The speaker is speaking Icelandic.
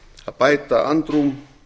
að bæta andrúm